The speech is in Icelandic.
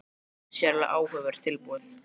Hlustið: þetta er sérlega áhugavert tilboð